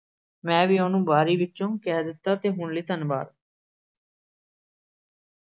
ਮੈਂ ਵੀ ਉਹਨੂੰ ਬਾਰੀ ਵਿੱਚੋ ਕਹਿ ਦਿੱਤਾ ਤੇ ਹੁਣ ਲਈ ਧੰਨਵਾਦ।